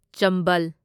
ꯆꯝꯕꯜ